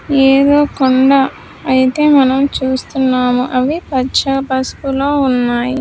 ఏదో కొండ అయితే మనం చూస్తున్నామో అవి పచ్చ పసుపులో ఉన్నాయి.